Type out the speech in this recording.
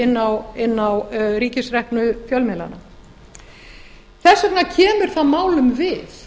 inn á ríkisreknu fjölmiðlana þess vegna kemur það málum við